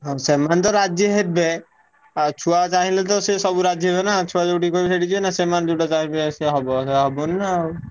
ହଁ ସେମାନେ ତ ରାଜି ହେବେ। ଆଉ ଛୁଆ ଚାହିଁଲେ ତ ସିଏ ସବୁ ରାଜି ହେବେନା। ଛୁଆ ଯୋଉଠିକି କହିବେ ସେଇଥିକି ଯିବେନା ସେମାନେ ଯୋଉଟା ଚାହିଁବେ ସେୟା ହବ ସେୟା ହବନି ନା ଆଉ।